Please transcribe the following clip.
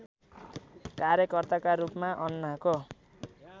कार्यकर्ताका रूपमा अन्नाको